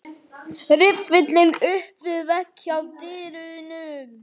Riffillinn upp við vegg hjá dyrunum.